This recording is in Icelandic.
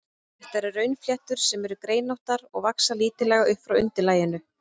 Þetta eru runnfléttur, sem eru greinóttar og vaxa lítillega upp frá undirlaginu.